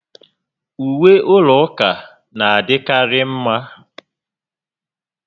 Uwe ụlọ ụka na adị karị mma